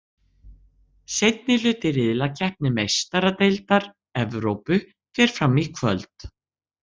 Seinni hluti riðlakeppni Meistaradeildar Evrópu fer fram í kvöld.